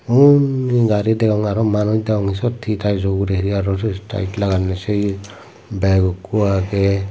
undi gari degong aro manuj degong aro siyot hee tyes jo ugure hee aro tyes laganney sei ye bag ikko agey.